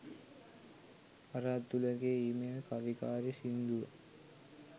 අර අතුලගේ ඊමේල් කවිකාරී සින්දුව